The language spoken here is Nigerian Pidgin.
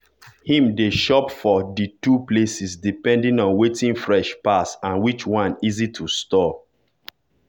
him dey shop for di two places depending on wetin fresh pass and which one easy to store.